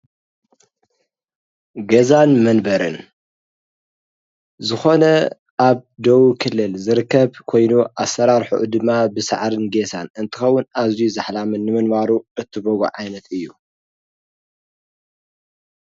ገዛን መንበርን ዝኮነ ኣብ ደቡብ ክልል ዝርከብ ኮይኑ ኣሰራርሕኡ ድማ ብሳዕርን ጌሳን እንትከውን ኣዝዩ ዛሕላም ንምንባሩ እትገብሮ ዓይነት እዩ።